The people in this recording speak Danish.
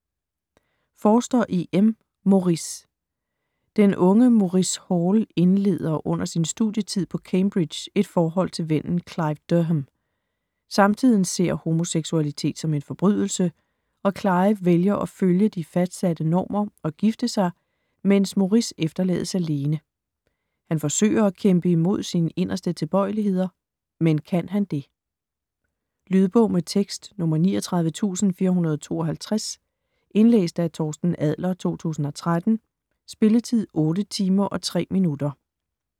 Forster, E. M.: Maurice Den unge Maurice Hall indleder under sin studietid på Cambridge et forhold til vennen Clive Durham. Samtiden ser homoseksualitet som en forbrydelse og Clive vælger at følge de fastsatte normer og gifte sig, mens Maurice efterlades alene. Han forsøger at kæmpe imod sine inderste tilbøjeligheder, men kan han det? Lydbog med tekst 39452 Indlæst af Torsten Adler, 2013. Spilletid: 8 timer, 3 minutter.